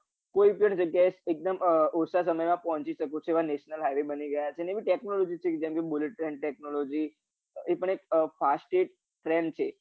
કોઈ પણ જગ્યા એ એકદમ ઓછા સમયમા પોહચી શકો તેવા national highway બની ગયા છે ને એવી technology બની ગયી જેમ કે bullet train technology એ પણ એક fastest train છે